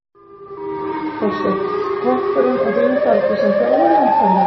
Þorsteinn: Toppurinn á þínum ferli sem þjálfari væntanlega?